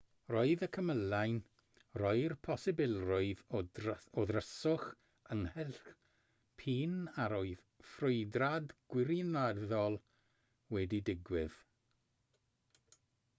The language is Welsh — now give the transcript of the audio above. roedd y cymylau'n rhoi'r posibilrwydd o ddryswch ynghylch p'un a oedd ffrwydrad gwirioneddol wedi digwydd